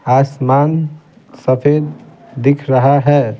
आसमान सफेद दिख रहा है।